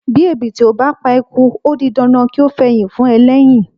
Bí ẹ̀bìtì ò bá pa eku ó di dandan kí ó fẹyìn fún ẹlẹ́yìn.